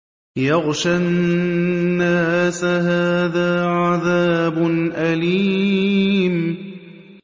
يَغْشَى النَّاسَ ۖ هَٰذَا عَذَابٌ أَلِيمٌ